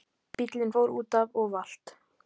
Bíllinn fór útaf og valt